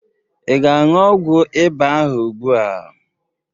Ị ga-aṅụ ọgwọ ịba ahụ ugbu a?